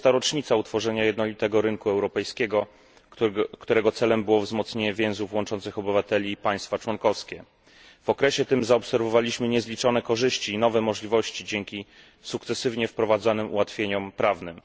20. rocznica utworzenia jednolitego rynku europejskiego, którego celem było wzmocnienie więzów łączących obywateli i państwa członkowskie. W okresie tym zaobserwowaliśmy niezliczone korzyści i nowe możliwości dzięki sukcesywnie wprowadzanym ułatwieniom prawnym.